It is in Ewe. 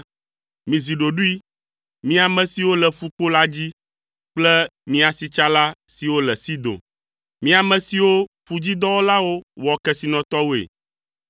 Mizi ɖoɖoe, mi ame siwo le ƒukpo la dzi kple mi asitsala siwo tso Sidon. Mi ame siwo ƒudzidɔwɔlawo wɔ kesinɔtɔwoe,